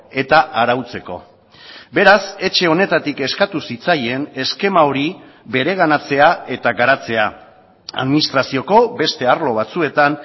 eta arautzeko beraz etxe honetatik eskatu zitzaien eskema hori bereganatzea eta garatzea administrazioko beste arlo batzuetan